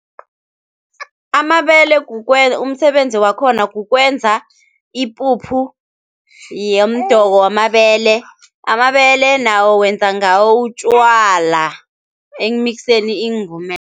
Amabele umsebenzi wakhona kukwenza ipuphu yomdoko wamabele. Amabele nawo wenza ngawo utjwala ekumikiseni iingumelo.